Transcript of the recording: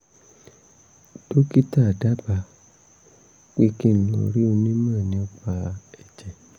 dókítà dábàá pé kí n lọ rí onímò nípa ẹ̀jẹ̀